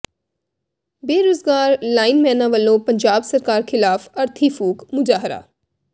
ਬੇਰੁਜ਼ਗਾਰ ਲਾਈਨਮੈਨਾਂ ਵੱਲੋਂ ਪੰਜਾਬ ਸਰਕਾਰ ਖ਼ਿਲਾਫ਼ ਅਰਥੀ ਫੂਕ ਮੁਜ਼ਾਹਰਾ